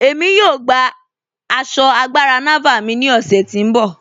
Ẹ̀mí yóò gbà àṣọ́ àgbàrá Nàvàl mí ni ọ̀ṣẹ̀ ti n bọ.